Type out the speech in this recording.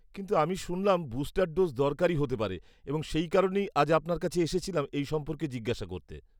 কিন্তু আমি শুনলাম বুস্টার ডোজ দরকারী হতে পারে, এবং সেই কারণেই আজ আপনার কাছে এসেছিলাম এই সম্পর্কে জিজ্ঞাসা করতে।